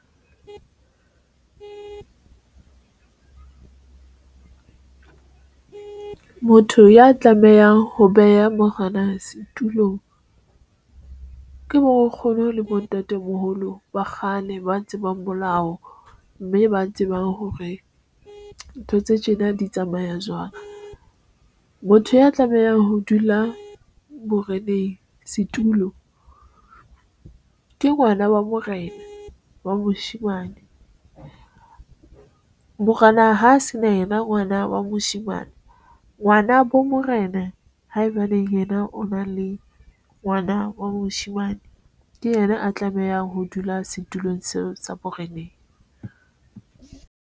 Motho ya tlamehang ho beha mohonang setulong ke moo o kgone ho le bo ntatemoholo ba kgale, ba tsebang molao mme ba tsebang hore ntho tse tjena di tsamaya jwang. Motho ya tlamehang ho dula boreneng setulo ke ngwana wa morena wa moshemane morena ha se na yena ngwana wa moshemane ngwana bo morena haebaneng yena o na le ngwana wa moshemane ke yena a tlamehang ho dula setulong seo sa boreneng.